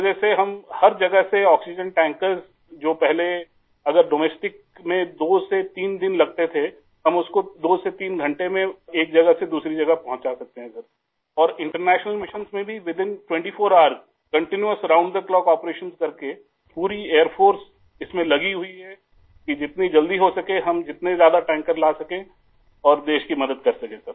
اس وجہ سے ہم ہر جگہ سے آکسیجن ٹینکر ، جو پہلے اگر ملک میں 2 سے 3 دن لگتے تھے ، ہم اُس کو 2 سے 3 گھنٹے میں ایک جگہ سے دوسری جگہ پہنچا سکتے ہیں ، سر اور بین الاقوامی مشنوں میں بھی 24 گھنٹے کے اندر اندر مسلسل ، ساتوں دن اور چوبیس گھنٹے آپریشن کرکے پوری فضائیہ اس میں لگی ہوئی ہے کہ جتنی جلدی ممکن ہو ہم زیادہ سے زیادہ ٹینکر لائیں اور ملک کی مدد کریں